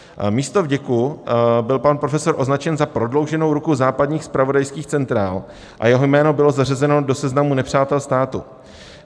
Místo vděku byl pan profesor označen za prodlouženou ruku západních zpravodajských centrál a jeho jméno bylo zařazeno do seznamu nepřátel státu.